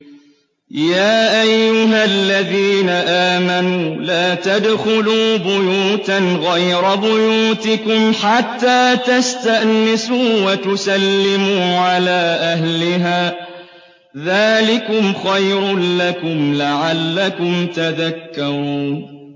يَا أَيُّهَا الَّذِينَ آمَنُوا لَا تَدْخُلُوا بُيُوتًا غَيْرَ بُيُوتِكُمْ حَتَّىٰ تَسْتَأْنِسُوا وَتُسَلِّمُوا عَلَىٰ أَهْلِهَا ۚ ذَٰلِكُمْ خَيْرٌ لَّكُمْ لَعَلَّكُمْ تَذَكَّرُونَ